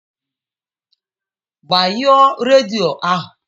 Gbanyụọ redio ahu!